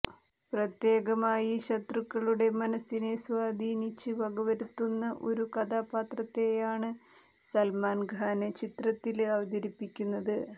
പ്രത്യേകമായി ശത്രുക്കളുടെ മനസിനെ സ്വാധീനിച്ച് വകവരുത്തുന്ന ഒരു കഥാപാത്രത്തെയാണ് സല്മാന് ഖാന് ചിത്രത്തില് അവതരിപ്പിക്കുന്നത്